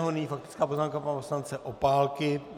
Nyní faktická poznámka pana poslance Opálky.